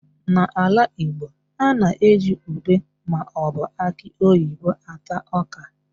N'ala Igbo, a na-eji ùbé maọbụ akị oyibo ata ọ́kà.